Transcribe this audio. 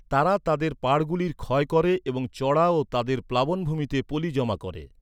তারা তাদের পাড়গুলির ক্ষয় করে এবং চড়া ও তাদের প্লাবনভূমিতে পলি জমা করে।